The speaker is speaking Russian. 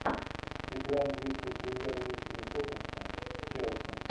игра английской премьер лиги тоттенхэм с челси